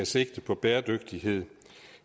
sigte på bæredygtighed